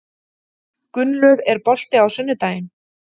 Gunnlöð, er bolti á sunnudaginn?